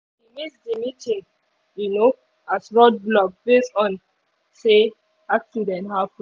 she miss the meeting um as road block based on say accident happen